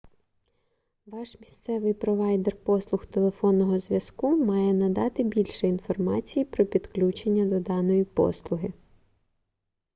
ваш місцевий провайдер послуг телефонного зв'язку має надати більше інформації про підключення до даної послуги